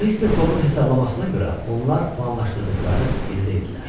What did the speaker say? Mister Foqun hesablamasına görə onlar planlaşdırdıqları yerdə idilər.